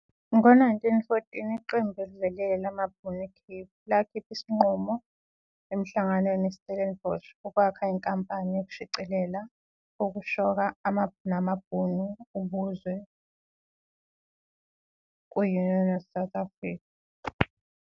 Ngo-1914, iqembu ovelele Cape amaBhunu isinqumo emhlanganweni Stellenbosch ukwakha inkampani ukushicilela ukuthi shoka namaBhunu ubuzwe ku -Union of South Africa.